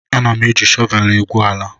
Ana m e ji shọvel egwu ala